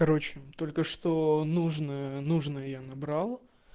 короче только что нужно нужную я набрал